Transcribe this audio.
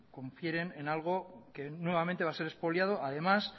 confieren en algo que nuevamente va a ser expoliado además